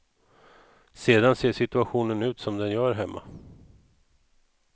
Sedan ser situationen ut som den gör hemma.